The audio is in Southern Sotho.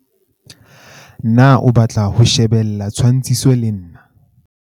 Na o batla ho shebella tshwantshiso le nna?